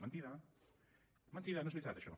mentida mentida no és veritat això